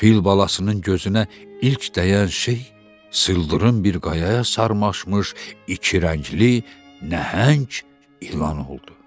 Fil balasının gözünə ilk dəyən şey sıldırım bir qayaya sarmaşmış iki rəngli nəhəng ilan oldu.